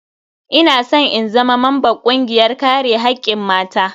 Ina san in zama mamban kungiyar kare hakkin mata.